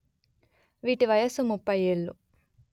వీటి వయస్సు ముప్పై ఏళ్ళు